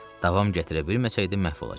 Davam gətirə bilməsəydi məhv olacaqdı.